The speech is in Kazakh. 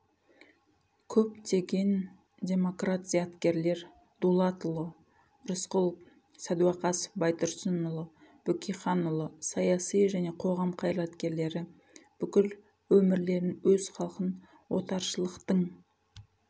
көптеген демократ зияткерлер дулатұлы рысқұлов сәдуақасов байтұрсынұлы бөкейханұлы саяси және қоғам қайраткерлері бүкіл өмірлерін өз халқын отаршылықтың